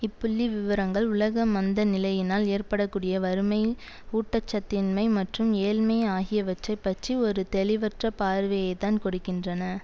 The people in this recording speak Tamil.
இப்புள்ளிவிவரங்கள் உலக மந்த நிலையினால் ஏற்பட கூடிய வறுமை ஊட்ட சத்தின்மை மற்றும் ஏழ்மை ஆகியவற்றை பற்றி ஒரு தெளிவற்ற பார்வையைத்தான் கொடுக்கின்றன